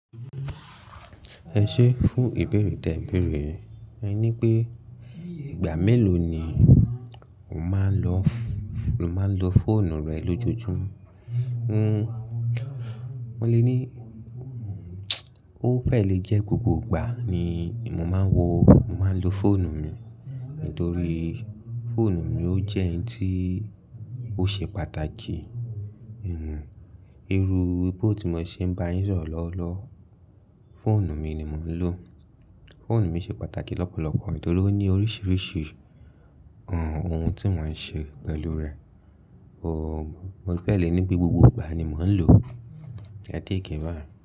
Ẹ ṣé fún ìbéèrè tẹ̀béèrè, ẹ ní pé ìgbà mélòó ni o máa ń lo fóònù rẹ lójoojúmó? Mo lè ní, o fẹ̀ lẹ jẹ́ gbogbo ìgbà ni mo máa ń lo fóònù mi, nítorí fóònù mi ó jẹ́ ohun tí ó ṣe pàtàkì. Hmm irúuwe tó ti mo ṣe ń bá yín sọ̀rọ̀ lọ́wọ́lọ́wọ́, fóònù mi ni mò ń lò. Fóònù mi ṣe pàtàkì lọ́pọ̀lọ́pọ̀ nítorí ó ní oríṣiríṣi ohun tí mò ń ṣe pẹ̀lú rẹ̀. Mo fẹ̀ lẹ ní pé gbogbo ìgbà ni mò ń lò ẹ̀. Ẹ́ tẹ́ kí n wà.